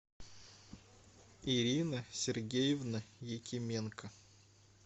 ирина сергеевна якименко